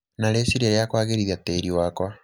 na rĩciria rĩa kũagĩrithia tĩri wakwa.